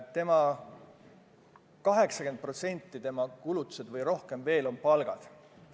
Tema kulutustest 80% või rohkem veel on palgad.